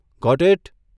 Got it?